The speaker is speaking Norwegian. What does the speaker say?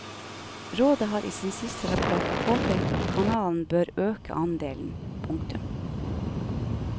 Rådet har i sin siste rapport påpekt at kanalen bør øke andelen. punktum